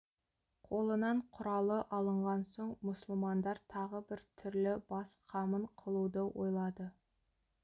қолынан құралы алынған соң мұсылмандар тағы бір түрлі бас қамын қылуды ойлады